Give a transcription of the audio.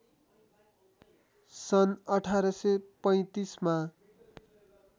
सन् १८३५ मा